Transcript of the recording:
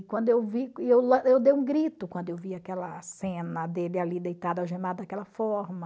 Quando eu vi eu dei um grito quando eu vi aquela cena dele ali deitado algemado daquela forma.